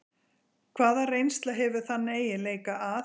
Hvaða reynsla hefur þann eiginleika að